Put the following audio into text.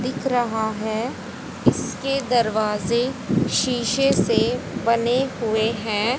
दिख रहा है इसके दरवाजे शीशे से बने हुए हैं।